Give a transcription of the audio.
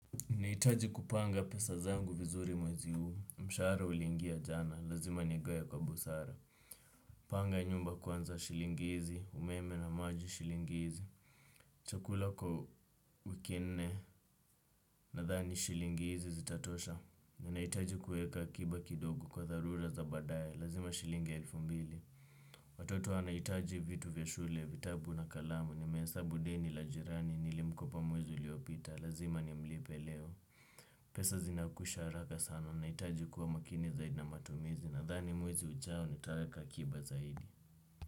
Ninahitaji kupanga pesa zangu vizuri mwezi huu. Mshara ulingia jana. Lazima nigawe kwa busara. Panga nyumba kwanza shilingi izi. Umeme na maji shilingi izi. Chakula kwa wiki nne. Nadhani shilingi izi zitatosha. Ninahitaji kueka akiba kidogo kwa tharura za baadae. Lazima shilingi elfu mbili. Watoto wanahitaji vitu vya shule. Vitabu na kalamu. Nimesabu deni la jirani. Nilimkopa mwezi uliopita. Lazima nimlipe leo. Pesa zinakwisha haraka sana naitajukuwa makini zaidi na matumizi nadhani mwezi ujao nitaeka akiba zaidi.